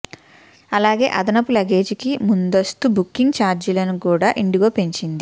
అలాగే అదనపు లగేజీకి ముందస్తు బుకింగ్ ఛార్జీలను కూడా ఇండిగో పెంచింది